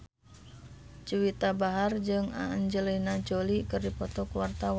Juwita Bahar jeung Angelina Jolie keur dipoto ku wartawan